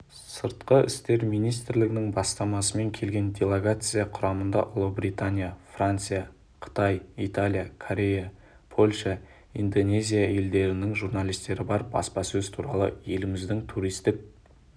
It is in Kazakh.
сыртқы істер министрлігінің бастамасымен келген делегация құрамында ұлыбритания франция қытай италия корея польша индонезия елдерінің журналистері бар баспасөз туры еліміздің туристік